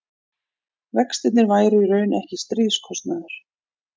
vextirnir væru í raun ekki stríðskostnaður